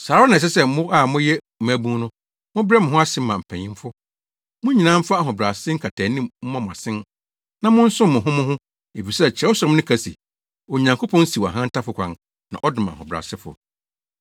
Saa ara na ɛsɛ sɛ mo a moyɛ mmabun no, mobrɛ mo ho ase ma mpanyimfo. Mo nyinaa mfa ahobrɛase nkataanim mmɔ mo asen na monsom mo ho mo ho efisɛ Kyerɛwsɛm no ka se, “Onyankopɔn siw ahantanfo kwan na ɔdom ahobrɛasefo.”